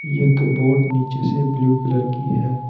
एक बोट नीचे से ब्लू कलर की है।